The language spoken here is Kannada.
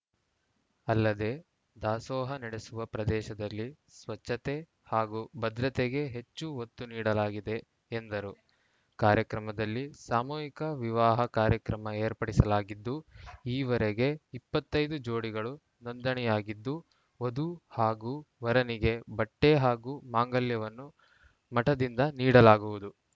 ಅಲ್ಲದೆ ದಾಸೋಹ ನಡೆಸುವ ಪ್ರದೇಶದಲ್ಲಿ ಸ್ವಚ್ಛತೆ ಹಾಗೂ ಭದ್ರತೆಗೆ ಹೆಚ್ಚು ಒತ್ತು ನೀಡಲಾಗಿದೆ ಎಂದರು ಕಾರ್ಯಕ್ರಮದಲ್ಲಿ ಸಾಮೂಹಿಕ ವಿವಾಹ ಕಾರ್ಯಕ್ರಮ ಏರ್ಪಡಿಸಲಾಗಿದ್ದು ಈವರೆಗೆ ಇಪ್ಪತ್ತ್ ಐದು ಜೋಡಿಗಳು ನೋಂದಣಿಯಾಗಿದ್ದು ವಧು ಹಾಗೂ ವರನಿಗೆ ಬಟ್ಟೆಹಾಗೂ ಮಾಂಗಲ್ಯವನ್ನು ಮಠದಿಂದ ನೀಡಲಾಗುವುದು